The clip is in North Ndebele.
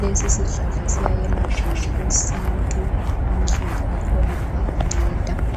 Lesi sihlahla siyayelapha ngokwesintu. Amahlamvu akhona ayanceda.